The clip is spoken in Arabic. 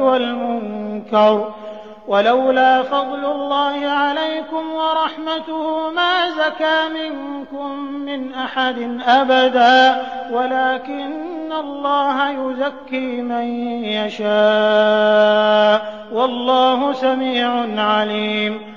وَالْمُنكَرِ ۚ وَلَوْلَا فَضْلُ اللَّهِ عَلَيْكُمْ وَرَحْمَتُهُ مَا زَكَىٰ مِنكُم مِّنْ أَحَدٍ أَبَدًا وَلَٰكِنَّ اللَّهَ يُزَكِّي مَن يَشَاءُ ۗ وَاللَّهُ سَمِيعٌ عَلِيمٌ